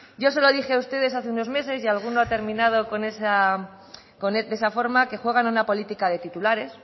yo se lo dije a ustedes hace unos meses y alguno ha terminado de esa forma que juegan a una política de titulares